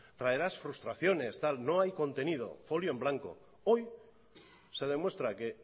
traerás frustraciones no hay contenido folio en blanco hoy se demuestra que